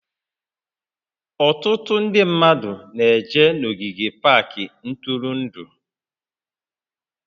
Ọtụtụ ndị mmadụ na-eje n'ogige pak ntụrụndụ